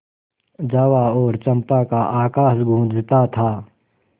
जावा और चंपा का आकाश गँूजता था